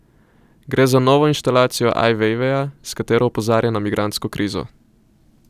Gre za novo instalacijo Aj Vejveja, s katero opozarja na migrantsko krizo.